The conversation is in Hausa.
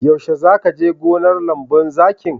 Yaushe za ka je gonar lemun zaƙin?